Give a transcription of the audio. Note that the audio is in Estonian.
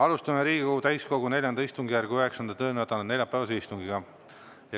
Alustame Riigikogu täiskogu IV istungjärgu 9. töönädala neljapäevast istungit.